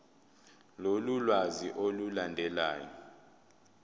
lolu lwazi olulandelayo